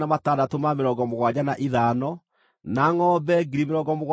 na andũ-a-nja 32,000 arĩa mataakomete na mũndũ mũrũme.